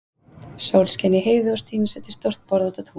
Sól skein í heiði og Stína setti stórt borð út á tún.